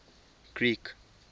greek